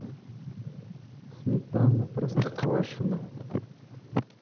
сметана простоквашино